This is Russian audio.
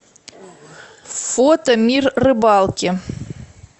фото мир рыбалки